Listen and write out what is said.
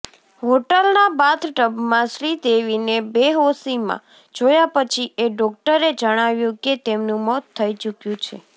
હોટલના બાથટબમાં શ્રીદેવીને બેહોશીમાં જોયા પછી એ ડોક્ટરે જણાવ્યુ કે તેમનુ મોત થઈ ચુક્યુ છે